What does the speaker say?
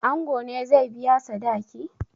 Ango ne zai biya sadaki?